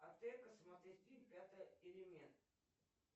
а где посмотреть фильм пятый элемент